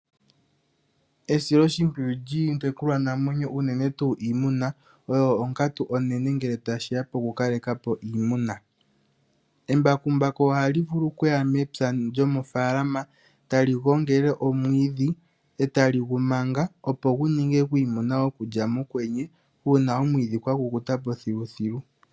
Esiloshimpwiyu lyiitekulwanamwenyo uunene tuu iimuna oyo onkatu onene uuna tashi ya pokukalekapo ii muna. Embakumbaku ohali vulu okuya mepya lyomofalama e tali gongele omwiidhi e tali gu manga opo gu ninge gwiimuna go kulya mokwenye uuna omwiidhi gwa kukutapo thiluthilu.